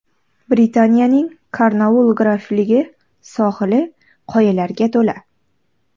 Britaniyaning Kornoull grafligi sohili qoyalarga to‘la.